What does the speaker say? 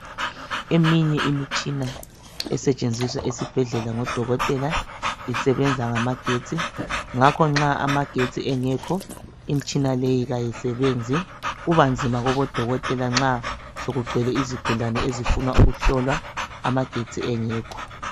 Eminye imitshina esetshenziswa ezibhedlela ngodokotela isebenza ngamagetsi ngakho nxa amagetsi engekho imitshina leyi ayisebenzi kubanzima kobo dokotela nxa sokugcwele izigulane ezifuna ukuhlolwa amagetsi engekho.